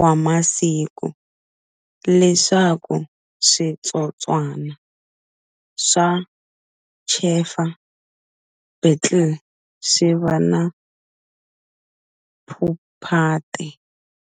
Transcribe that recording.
wa masiku, leswaku switsotswana swa chafer beetle swiva na pupate.